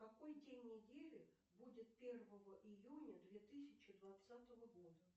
какой день недели будет первого июня две тысячи двадцатого года